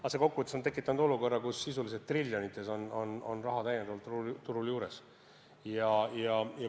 Aga kokkuvõttes on see tekitanud olukorra, kus sisuliselt triljonites on raha täiendavalt turul olemas.